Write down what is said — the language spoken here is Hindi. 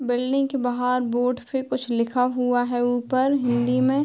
बिल्डिंग के बाहर बोर्ड पे कुछ लिखा हुआ है ऊपर हिंदी में।